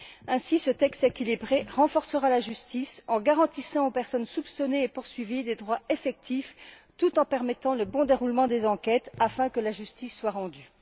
Ainsi, ce texte équilibré renforcera la justice en garantissant aux personnes soupçonnées et poursuivies des droits effectifs, tout en permettant le bon déroulement des enquêtes afin que justice soit rendue.